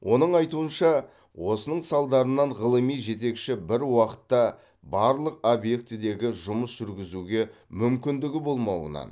оның айтуынша осының салдарынан ғылыми жетекші бір уақытта барлық объектідегі жұмыс жүргізуге мүмкіндігі болмауынан